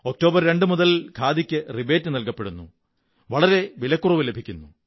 October 2 മുതൽ ഖാദിക്ക് rebate നല്കണപ്പെടുന്നു വളരെ വിലക്കുറവു ലഭിക്കുന്നു